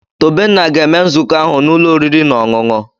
Tobenna ga-eme nzukọ ahụ n'ụlọ oriri na ọṅụṅụ.